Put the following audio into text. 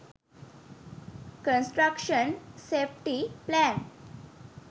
construction safety plan